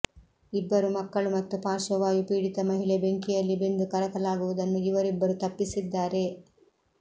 ಇಬ್ಬರು ಮಕ್ಕಳು ಮತ್ತು ಪಾರ್ಶ್ವವಾಯು ಪೀಡಿತ ಮಹಿಳೆ ಬೆಂಕಿಯಲ್ಲಿ ಬೆಂದು ಕರಕಲಾಗುವುದನ್ನು ಇವರಿಬ್ಬರು ತಪ್ಪಿಸಿದ್ದಾರೆ